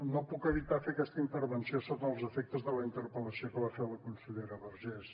no puc evitar fer aquesta intervenció sota els efectes de la interpel·lació que va fer a la consellera vergés